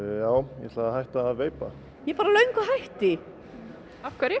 ég ætla að hætta að veipa ég er bara löngu hætt